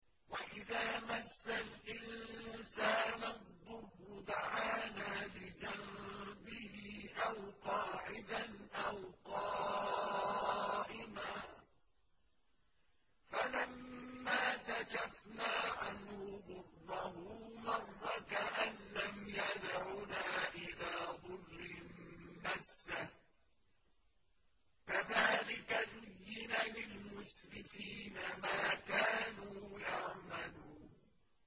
وَإِذَا مَسَّ الْإِنسَانَ الضُّرُّ دَعَانَا لِجَنبِهِ أَوْ قَاعِدًا أَوْ قَائِمًا فَلَمَّا كَشَفْنَا عَنْهُ ضُرَّهُ مَرَّ كَأَن لَّمْ يَدْعُنَا إِلَىٰ ضُرٍّ مَّسَّهُ ۚ كَذَٰلِكَ زُيِّنَ لِلْمُسْرِفِينَ مَا كَانُوا يَعْمَلُونَ